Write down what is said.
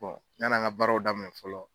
yanan ka baaraw daminɛ fɔlɔ.